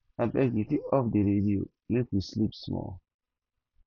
abeg you fit off di radio make we sleep small